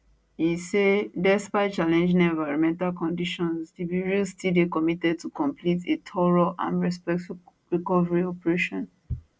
e say despite challenging environmental conditions di bureau still dey committed to complete a thorough and respectful recovery operation